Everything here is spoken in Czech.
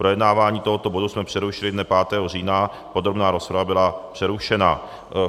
Projednávání tohoto bodu jsme přerušili dne 5. října, podrobná rozprava byla přerušena.